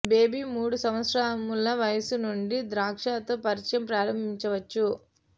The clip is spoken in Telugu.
బేబీ మూడు సంవత్సరముల వయస్సు నుండి ద్రాక్ష తో పరిచయం ప్రారంభించవచ్చు